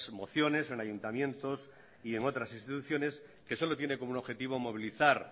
mociones en ayuntamientos y en otras instituciones que solo tiene como objetivo movilizar